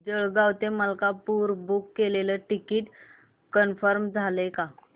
जळगाव ते मलकापुर बुक केलेलं ticket confirm झालं का